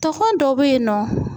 Togɔn dɔ bɛ yen nɔ